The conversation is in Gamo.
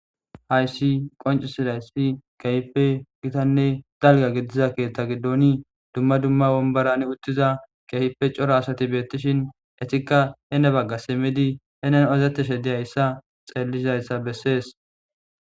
Hayssi qoncisidayssi keehippe gitanne dalgga gidiza keettaa giddooni dumma dumma womborani uttiza keehippe coro asati beettishin etikka hene bagga simmidi henen odettishe dizayssa xeellizayssa bessees.